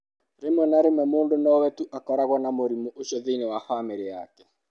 Rĩmwe na rĩmwe mũndũ no we tu ũkoragwo na mũrimũ ũcio thĩinĩ wa famĩlĩ yake.